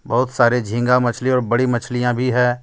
बहुत सारे झींगा मछली और बड़ी मछलियां भी है.